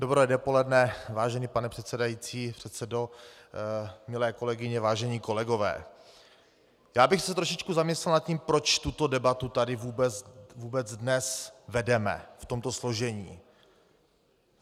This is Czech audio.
Dobré dopoledne vážený pane předsedající, předsedo, milé kolegyně, vážení kolegové, já bych se trošičku zamyslel nad tím, proč tuto debatu tady vůbec dnes vedeme v tomto složení.